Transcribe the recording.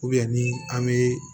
ni an bɛ